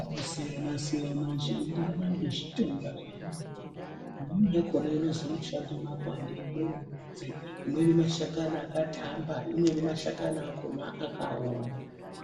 anosiyana-siyana zveienderana ngezvitenda zvainorapa. Imweni yakona inozi inoshande makwande, imweni midzi , imweni mashakani akatamba, imweni mashakani akona akaoma.